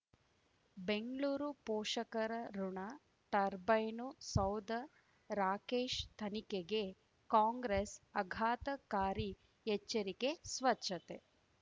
ಬೆಂಗ್ಳೂರು ಪೋಷಕರಋಣ ಟರ್ಬೈನು ಸೌಧ ರಾಕೇಶ್ ತನಿಖೆಗೆ ಕಾಂಗ್ರೆಸ್ ಆಘಾತಕಾರಿ ಎಚ್ಚರಿಕೆ ಸ್ವಚ್ಛತೆ